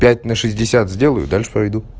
пять на шестьдесят сделаю и дальше пойду